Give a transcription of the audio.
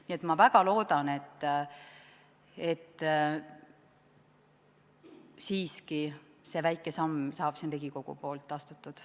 Nii et ma väga loodan, et siiski see väike samm saab siin Riigikogus astutud.